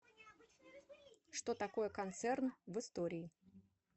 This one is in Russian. что такое концерн в истории